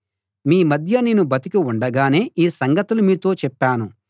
మీ మధ్య నేను బతికి ఉండగానే ఈ సంగతులు మీతో చెప్పాను